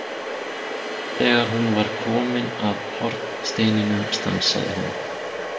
Þegar hún var komin að hornsteininum stansaði hún.